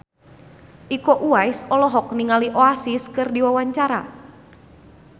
Iko Uwais olohok ningali Oasis keur diwawancara